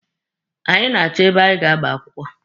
Anyị na-achọ ebe anyị ga-agba akwụkwọ.